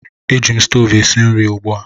Eji m stoovu esi nri ugbu a